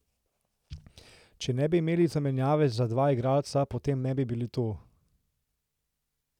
Če ne bi imeli zamenjave za dva igralca, potem ne bi bili tu.